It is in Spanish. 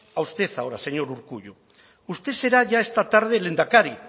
a usted ahora señor urkullu usted será ya esta tarde lehendakari